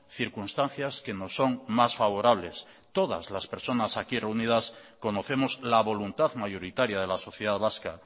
circunstancias que nos son más favorables todas las personas aquí reunidas conocemos la voluntad mayoritaria de la sociedad vasca